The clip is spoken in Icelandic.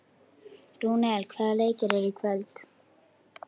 Rúnel, hvaða leikir eru í kvöld?